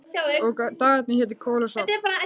Og dagarnir hétu Kol og Salt